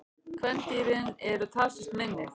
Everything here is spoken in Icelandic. Kvendýrin eru talsvert minni.